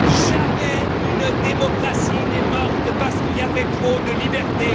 Jamais une démocratie n'est morte parce qu'il y avait trop de libertés.